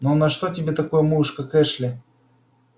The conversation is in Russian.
ну на что тебе такой муж как эшли